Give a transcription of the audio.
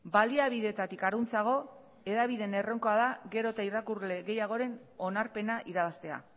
baliabideetatik harantzago hedabideen erronka da gero eta irakurle gehiagoren onarpena irabaztea